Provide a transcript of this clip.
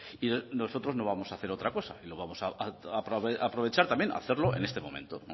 y nosotros no vamos a hacer otra cosa lo vamos a aprovechar también a hacerlo en este momento